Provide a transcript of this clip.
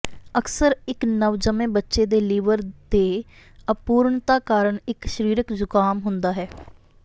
ਅਕਸਰ ਇੱਕ ਨਵਜੰਮੇ ਬੱਚੇ ਦੇ ਲਿਵਰ ਦੇ ਅਪੂਰਣਤਾ ਕਾਰਨ ਇੱਕ ਸਰੀਰਕ ਜ਼ੁਕਾਮ ਹੁੰਦਾ ਹੈ